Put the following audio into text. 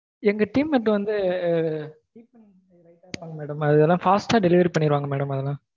எங்க team mate வந்து fast delivery பண்ணிருவாங்க madam அதுலாம்